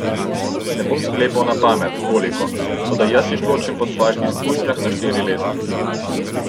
Ne bom sklepal na pamet, koliko, toda jaz jih ločim po svojih izkušnjah na štiri leta.